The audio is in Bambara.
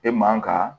E man ka